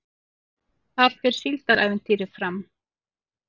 Þar fer Síldarævintýrið fram